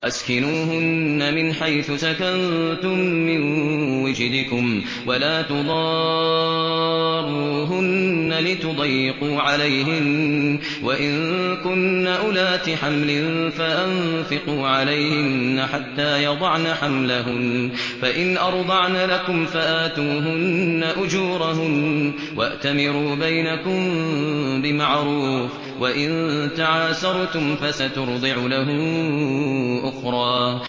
أَسْكِنُوهُنَّ مِنْ حَيْثُ سَكَنتُم مِّن وُجْدِكُمْ وَلَا تُضَارُّوهُنَّ لِتُضَيِّقُوا عَلَيْهِنَّ ۚ وَإِن كُنَّ أُولَاتِ حَمْلٍ فَأَنفِقُوا عَلَيْهِنَّ حَتَّىٰ يَضَعْنَ حَمْلَهُنَّ ۚ فَإِنْ أَرْضَعْنَ لَكُمْ فَآتُوهُنَّ أُجُورَهُنَّ ۖ وَأْتَمِرُوا بَيْنَكُم بِمَعْرُوفٍ ۖ وَإِن تَعَاسَرْتُمْ فَسَتُرْضِعُ لَهُ أُخْرَىٰ